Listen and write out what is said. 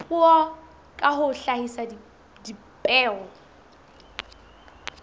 puo ka ho hlahisa dipheo